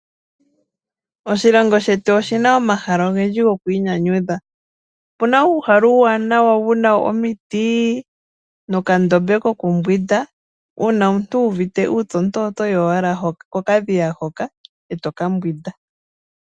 Oshilongo shetu oshi na omahala ogendji gokwiinyanyudha. Opu na uuhala uuwaanawa wu na omiti nuundama wo ku mbwinda , uuna omuntu wu uvite uupyu oho yi owala mokandama moka eto mbwindi.